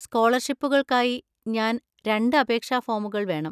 സ്കോളർഷിപ്പുകൾക്കായി ഞാൻ രണ്ട് അപേക്ഷാ ഫോമുകൾ വേണം.